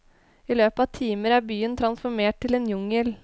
I løpet av timer er byen transformert til en jungel.